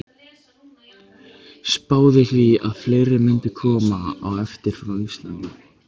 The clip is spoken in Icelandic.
Spáði því að fleiri mundu koma á eftir frá Íslandi.